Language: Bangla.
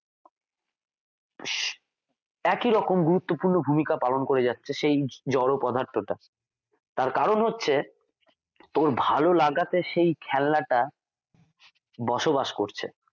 একি রকম গুরুত্বপূর্ণ ভূমিকা পালন করে যাচ্ছে সেই জড় পদার্থ টা তার কারণ হচ্ছে তোর ভালো লাগাতে সেই খেলনাটা বসবাস করছে